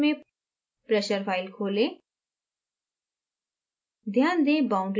0 zero folder में pressure file खोलें